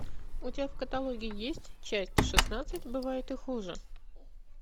у тебя в каталоге есть часть шестнадцать бывает и хуже